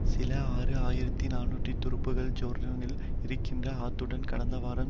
சில ஆறு ஆயிரத்தி நாநூறு துருப்புக்கள் ஜோர்டானில் இருக்கின்றன ஆத்துடன் கடந்தவாரம்